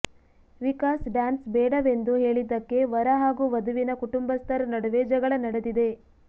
Vikas dance ಬೇಡವೆಂದು ಹೇಳಿದಕ್ಕೆ ವರ ಹಾಗೂ ವಧುವಿನ ಕುಟುಂಬಸ್ಥರ ನಡುವೆ ಜಗಳ ನಡೆದಿದೆ